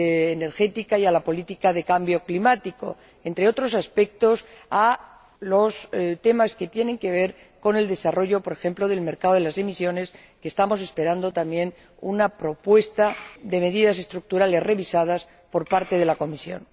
energética y a la política de cambio climático y, entre otros aspectos, a los temas que tienen que ver con el desarrollo, por ejemplo, del mercado de las emisiones, para el que estamos esperando, también, una propuesta de medidas estructurales revisadas por parte de la Comisión.